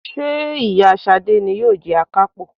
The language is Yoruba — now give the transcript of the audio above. Ṣé ìyá Ṣadé ni yóò jẹ Akápò?